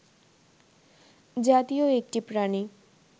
জাতীয় একটি প্রাণী